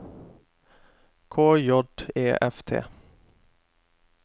K J E F T